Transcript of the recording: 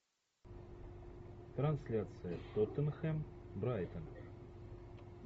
трансляция тоттенхэм брайтон